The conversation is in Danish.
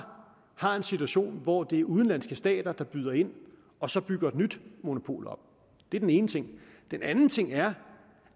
har en situation hvor det er udenlandske stater der byder ind og så bygger et nyt monopol op det er den ene ting den anden ting er